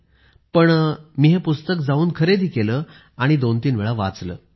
पण पुन्हा जाऊन मी हे पुस्तक खरेदी केले आणि दोनतीन वेळा वाचले